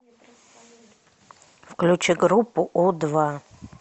включи группу у два